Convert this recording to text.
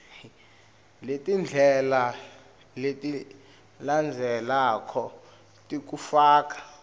letindlela letilandzelako tekufaka